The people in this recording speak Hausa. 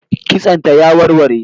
Kitson ta ya warware